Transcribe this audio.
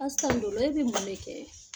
Assan dolo e bɛ mun de kɛ?